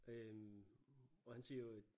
Øh og han siger jo at